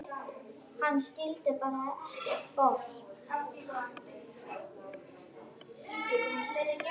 Hann skildi bara ekki bofs.